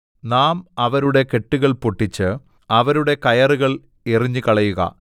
നാം അവരുടെ കെട്ടുകൾ പൊട്ടിച്ച് അവരുടെ കയറുകൾ എറിഞ്ഞുകളയുക